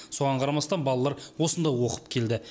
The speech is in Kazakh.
соған қарамастан балалар осында оқып келді